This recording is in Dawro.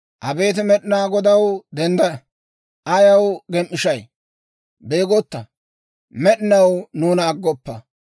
Abeet Med'inaa Godaw, dendda! Ayaw gem"ishay? Beegotta! Med'inaw nuuna aggoppa.